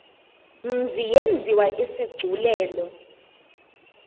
mzi yenziwe isigculelo